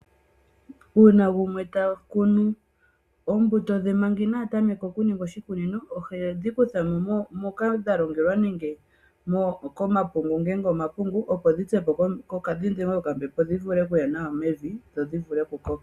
Uuuna gumwe ta kunu oombuto dhe manga inaa tameka okuninga oshikunino, oombuto dhe ohe dhi kutha mo moka dha longelwa nenge komapungu ngele omapungu opo dhi pye po komutenya, dhi dhengwe po kokambepo opo dhi vule okuya nawa mevi dhi vule okukoka.